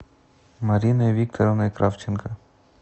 мариной викторовной кравченко